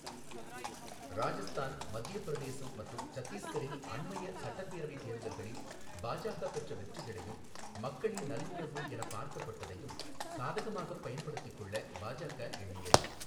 ராஜஸ்தான், மத்தியப் பிரதேசம் மற்றும் சத்தீஸ்கரின் அண்மைய சட்டப்பேரவைத் தேர்தல்களில் பாஜக பெற்ற வெற்றிகளையும் மக்களின் நல்லுணர்வு எனப் பார்க்கப்பட்டதையும் சாதகமாகப் பயன்படுத்திக் கொள்ள பாஜக எண்ணியது.